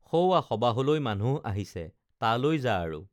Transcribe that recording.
সৌৱা সবাহলৈ মানুহ আহিছে তালৈ যা আৰু